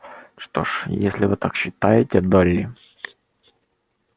что ж если вы так считаете долли